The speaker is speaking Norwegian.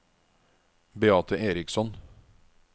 Beate Eriksson